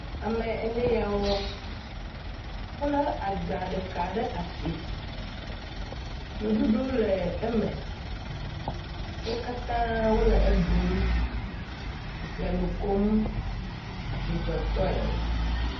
Ame ene ya wo, wolé agba ɖeka ɖe asi. Nuɖuɖu le eme. Wo katã wole eɖum le nu kom dzidzɔtɔe.